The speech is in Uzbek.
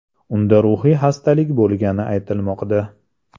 Unda ruhiy xastalik bo‘lgani aytilmoqda.